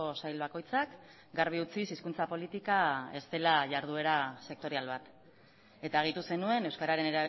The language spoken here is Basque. sail bakoitzak garbi utziz hizkuntza politika ez dela iharduera sektorial bat eta gehitu zenuen euskararen